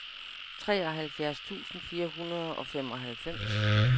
treoghalvfjerds tusind fire hundrede og femoghalvfems